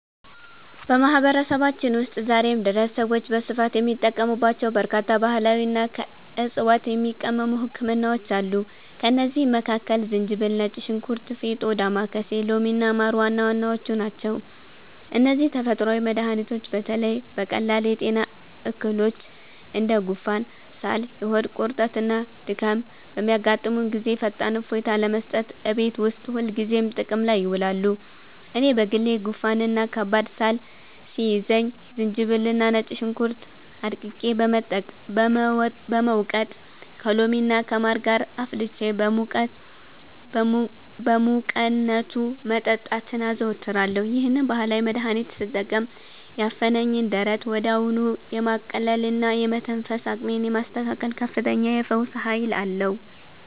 በማህበረሰባችን ውስጥ ዛሬም ድረስ ሰዎች በስፋት የሚጠቀሙባቸው በርካታ ባህላዊና ከዕፅዋት የሚቀመሙ ህክምናዎች አሉ። ከእነዚህም መካከል ዝንጅብል፣ ነጭ ሽንኩርት፣ ፌጦ፣ ዳማከሴ፣ ሎሚና ማር ዋና ዋናዎቹ ናቸው። እነዚህ ተፈጥሯዊ መድኃኒቶች በተለይ በቀላል የጤና እክሎች እንደ ጉንፋን፣ ሳል፣ የሆድ ቁርጠትና ድካም በሚያጋጥሙን ጊዜ ፈጣን እፎይታ ለመስጠት እቤት ውስጥ ሁልጊዜ ጥቅም ላይ ይውላሉ። እኔ በግሌ ጉንፋንና ከባድ ሳል ሲይዘኝ ዝንጅብልና ነጭ ሽንኩርት አድቅቄ በመውቀጥ፣ ከሎሚና ከማር ጋር አፍልቼ በሙቅነቱ መጠጣትን አዘወትራለሁ። ይህንን ባህላዊ መድኃኒት ስጠቀም ያፈነኝን ደረት ወዲያውኑ የማቅለልና የመተንፈስ አቅሜን የማስተካከል ከፍተኛ የፈውስ ኃይል አለው።